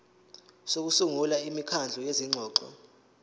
sokusungula imikhandlu yezingxoxo